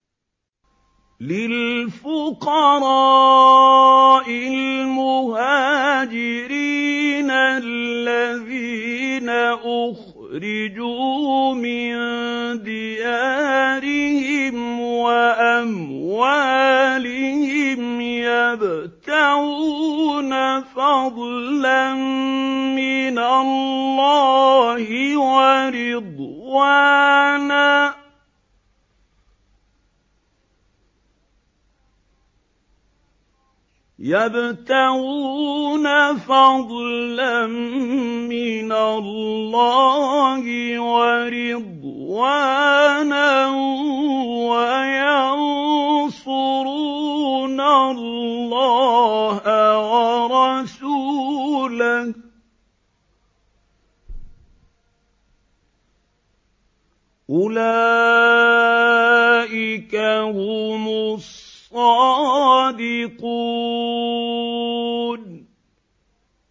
لِلْفُقَرَاءِ الْمُهَاجِرِينَ الَّذِينَ أُخْرِجُوا مِن دِيَارِهِمْ وَأَمْوَالِهِمْ يَبْتَغُونَ فَضْلًا مِّنَ اللَّهِ وَرِضْوَانًا وَيَنصُرُونَ اللَّهَ وَرَسُولَهُ ۚ أُولَٰئِكَ هُمُ الصَّادِقُونَ